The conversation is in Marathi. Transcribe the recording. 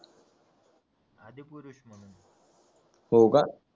हो का